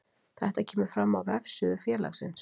Þetta kemur fram á vefsíðu félagsins